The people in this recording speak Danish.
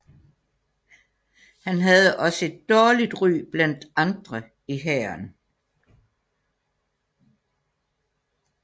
Han havde også et dårligt ry blandt andre i hæren